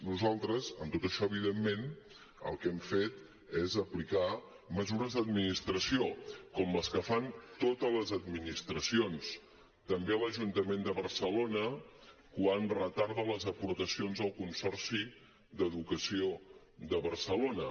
nosaltres amb tot això evidentment el que hem fet és aplicar mesures d’administració com les que fan totes les administracions també l’ajuntament de barcelona quan retarda les aportacions al consorci d’educació de barcelona